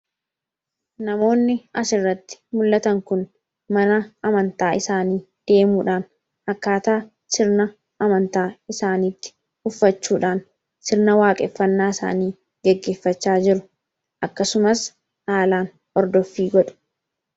Namoonni asirratti mul'atan kun mana amantaa isaanii deemuudhaan akkaataa sirna amantaa isaaniitti uffachuudhaan sirna waaqeffannaa isaanii geggeeffachaa jiru akkasumas aalaan ordooffii godhu.